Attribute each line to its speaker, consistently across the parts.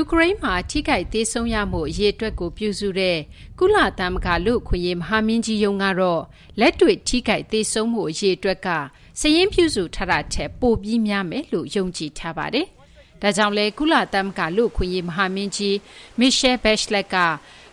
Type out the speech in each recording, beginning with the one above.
Speaker 1: ူကရိန်းမှာ ထိခိုက်သေဆုံးရမှု အရေအတွက်ကို ပြုစုတဲ့ ကုလသမဂ္ဂ လူ့အခွင့်အရေး မဟာမင်းကြီးရုံး ကတော့ လက်တွေ့ ထိခိုက် သေဆုံးမှု အရေအတွက်က စာရင်းပြုစု ထားတာထက် ပိုပြီး များမယ်လို့ ယုံကြည်ထားပါတယ်။ ဒါကြောင့်လည်း ကုလသမဂ္ဂ လူ့အခွင့်အရေး မဟာမင်းကြီး Michelle Bachelet က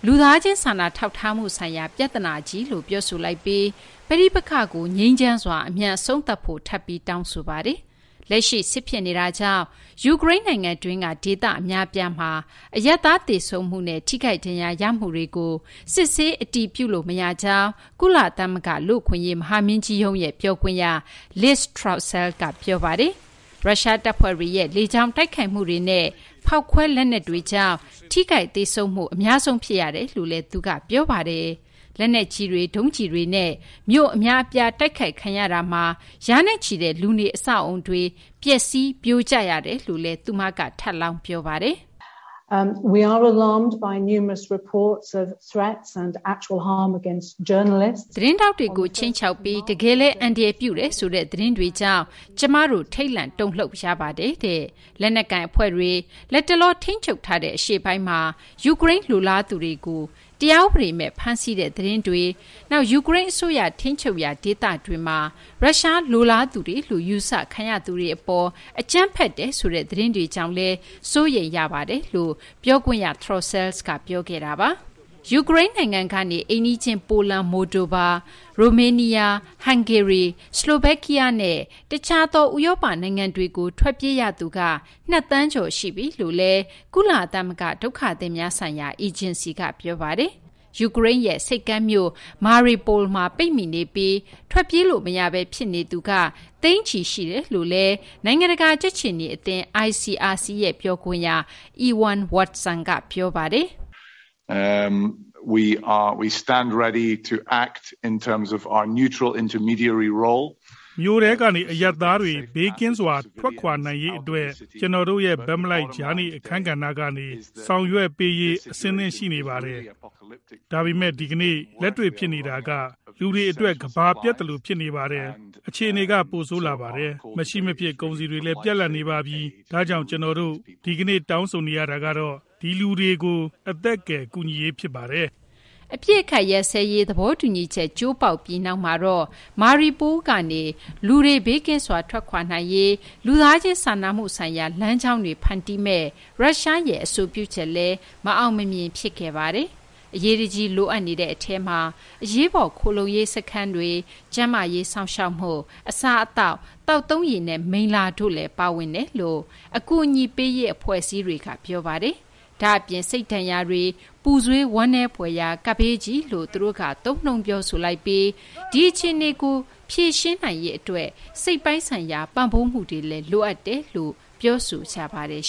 Speaker 1: လူသားချင်း စာနာထောက်ထားမှု ဆိုင်ရာ ပြဿနာကြီးလို့ ပြောဆိုလိုက်ပြီး ပဋိပက္ခကို ငြိမ်းချမ်းစွာ အမြန် အဆုံးသတ်ဖို့ ထပ်ပြီး တောင်းဆိုပါတယ်။ လက်ရှိ စစ်ဖြစ်နေတာကြောင့် ယူကရိန်း နိုင်ငံတွင်းက ဒေသ အများအပြားမှာ အရပ်သား သေဆုံးမှုနဲ့ ထိခိုက်ဒဏ်ရာ ရမှုတွေကို စစ်ဆေး အတည်ပြုလို့ မရကြောင်း ကုလသမဂ္ဂ လူ့အခွင့်အရေး မဟာမင်းကြီးရဲ့ ပြောခွင့်ရ Liz Throssell က ပြောပါတယ်။ ရုရှား တပ်ဖွဲ့တွေရဲ့ လေကြောင်း တိုက်ခိုက်မှုတွေနဲ့ ဖောက်ခွဲ လက်နက်တွေကြောင့် ထိခိုက် သေဆုံးမှု အများဆုံး ဖြစ်ရကြောင်းလည်း သူက ပြောပါတယ်။ လက်နက်ကြီးတွေ၊ ဒုံးကျည်တွေနဲ့ မြို့ အများအပြား တိုက်ခိုက်ခံရတာမှာ ရာနဲ့ချီတဲ့ လူနေအဆောက်အအုံတွေ ပျက်စီး ပြိုကျရတယ်လို့လည်း သူမက ပြောပါတယ်။ “ သတင်းထောက်တွေကို ခြိမ်းခြောက်ပြီး တကယ်လည်း အန္တရာယ်ပြုတယ်ဆိုတဲ့ သတင်းတွေကြောင့် ကျမတို့ ထိတ်လန့်တုန်လှုပ်ရပါတယ်။ လက်နက်ကိုင် အဖွဲ့တွေ လတ်တလော ထိန်းချုပ်ထားတဲ့ အရှေ့ပိုင်းမှာ ယူကရိန်းလိုလားသူတွေကို တရားဥပဒေမဲ့ ဖမ်းဆီးတဲ့ သတင်းတွေ၊ နောက် ယူကရိန်း အစိုးရ ထိန်းချုပ်ရာ ဒေသတွေမှာ ရုရှား လိုလားသူတွေလို့ ယူဆခံရသူတွေ အပေါ် အကြမ်းဖက်တယ်ဆိုတဲ့ သတင်းတွေကြောင့်လည်း ကျမတို့ စိုးရိမ်ရပါတယ်။” ယူကရိန်း နိုင်ငံကနေ အိမ်နီးချင်း ပိုလန်၊ မိုလ်ဒိုဗာ၊ ရိုမေးနီးယား၊ ဟန်ဂေရီ၊ ဆလိုဗက်ကီးယားနဲ့ တခြားသော ဥရောပ နိုင်ငံတွေကို ထွက်ပြေး ရသူက နှစ်သန်းကျော် ရှိပြီလို့လည်း ကုလသမဂ္ဂ ဒုက္ခသည်များဆိုင်ရာ အေဂျင်စီက ပြောပါတယ်။ ယူကရိန်းရဲ့ ဆိပ်ကမ်းမြို့ Mariupol မှာ ပိတ်မိနေပြီး ထွက်ပြေးလို့ မရဘဲ ဖြစ်နေသူက သိန်းချီရှိနေတယ်လို့လည်း နိုင်ငံတကာ ကြက်ခြေနီ အသင်း ICRC ရဲ့ ပြောခွင့်ရ Ewan Watson က ပြောပါတယ်။
Speaker 2: “ မြို့ထဲကနေ အရပ်သားတွေ ဘေးကင်းစွာ ထွက်ခွာနိုင်ရေးကို အတွက် ကျနော်တို့ရဲ့ ဘက်မလိုက် ကြားနေ အခန်းကဏ္ဍကနေ ဆောင်ရွက်ပေးရေး အဆင်သင့် ရှိနေပါတယ်။ ဒါပေမယ့် ဒီကနေ့ လက်တွေ့ ဖြစ်နေတာက လူတွေ အတွက် ကမ္ဘာပျက်သလို ဖြစ်နေပါတယ်။ အခြေအနေက ပိုဆိုးလာပါတယ်။ မရှိ မဖြစ် ကုန်စည်တွေလည်း ပြတ်လပ်နေပါပြီ။ ဒါကြောင့် ကျနော်တို့ ဒီကနေ့ တောင်းဆိုနေတာကတော့ ဒီလူတွေကို အသက်ကယ် ကူညီရေး ဖြစ်ပါတယ်။
Speaker 1: ” အပစ်အခတ် ရပ်စဲရေး သဘောတူညီချက် ကျိုးပေါက်ပြီး နောက်မှာတော့ Mariupol ကနေ လူတွေ ဘေးကင်းစွာ ထွက်ခွာနိုင်ရေး အတွက် လူသားချင်းစာနာမှုဆိုင်ရာ လမ်းကြောင်းတွေ ဖန်တီးမယ့် ရုရှားရဲ့ အဆိုပြုချက်လည်း မအောင်မမြင် ဖြစ်ခဲ့ပါတယ်။ အရေးတကြီး လိုအပ်နေတဲ့ အထဲမှာ အရေးပေါ် ခိုလှုံရေးစခန်း၊ ကျန်းမာရေး စောင့်ရှောက်မှု၊ အစားအသောက်၊ သောက်သုံးရေနဲ့ မိလ္လာ တို့လည်း ပါဝင်ကြောင်း အကူအညီပေးရေး အဖွဲ့အစည်းတွေက ပြောပါတယ်။ ဒါ့အပြင် စိတ်ဒဏ်ရာတွေ၊ ပူဆွေး ဝမ်းနည်းဖွယ်ရာ ကပ်ဘေးကြီးလို့လည်း သူတို့က သုံးနှုန်း ပြောဆိုလိုက်ပြီး ဒီအခြေအနေကို ဖြေရှင်းနိုင်ရေး အတွက် စိတ်ပိုင်းဆိုင်ရာ ပံ့ပိုးမှုတွေလည်း လိုအပ်တယ်လို့လည်း ပြောဆိုကြပါတယ်